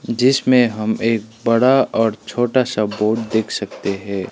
जिसमें हम एक बड़ा और छोटा सा बोर्ड देख सकते है।